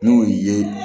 N'o ye